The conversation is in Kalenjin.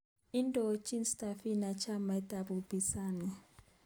Indochin Tsavigrai chamait ab upinzani